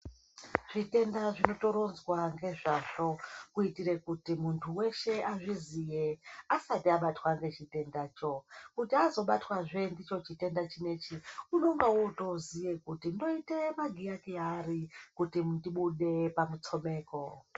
Zvitenda zvotoronzwa ngezvazvo kuitire kuti muntu weshe azviziye asati abatwa ngechitendacho. Kuti azobatwazve ndicho chitenda chinechi unenge ootoziya kuti ndoite magiya kiya ari kuti ndibude pamutsomeko.